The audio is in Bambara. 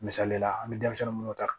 Misali la an bɛ denmisɛnnin minnu ta